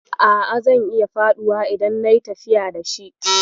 A'a, zan iya faduwa idan nayi tafiya da shi.